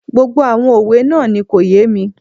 Gbogbo àwọn òwe náà kò yé mi